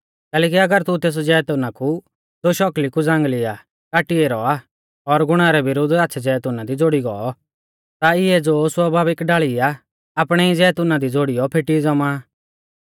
कैलैकि अगर तू तेस जैतुना कु ज़ो शौकली कु ज़ांगल़ी आ काटी ऐरौ आ और गुणा रै विरुद्ध आच़्छ़ै जैतूना दी ज़ोड़ी गौ ता इऐ ज़ो स्वाभाविक डाल़ी आ आपणै ई जैतूना दी ज़ोड़ीयौ फेटी ज़ौमा